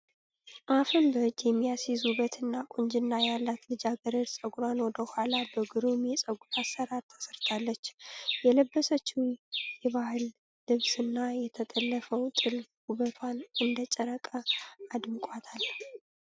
አፍን በእጅ የሚያስይዝ ዉበት እና ቁንጅና ያላት ልጃገረድ ፀጉሯን ወደ ኋላ በግሩም የፀጉር አሰራር ተሰርታለች። የለበሰችዉ የባህል ልብስ እና የተጠለፈበት ጥልፍ ዉበቷን እንደ ጨረቃ አድምቋታል።